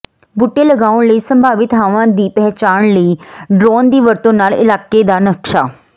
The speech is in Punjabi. ਬੂਟੇ ਲਗਾਉਣ ਲਈ ਸੰਭਾਵੀ ਥਾਵਾਂ ਦੀ ਪਹਿਚਾਣ ਲਈ ਡਰੋਨ ਦੀ ਵਰਤੋਂ ਨਾਲ ਇਲਾਕੇ ਦਾ ਨਕਸ਼ਾ